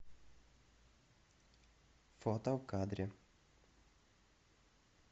фото в кадре